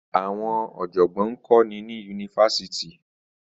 Àwọn ọ̀jọ̀gbọ́n ń kọ́ni ní Yunifásítì.